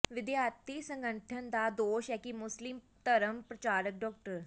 ਵਿਦਿਆਰਥੀ ਸੰਗਠਨ ਦਾ ਦੋਸ਼ ਹੈ ਕਿ ਮੁਸਲਿਮ ਧਰਮ ਪ੍ਰਚਾਰਕ ਡਾ